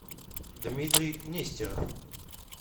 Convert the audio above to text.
дмитрий нестеров